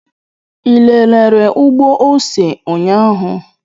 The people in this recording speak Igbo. Ị lelere ugbo ose ụnyahụ?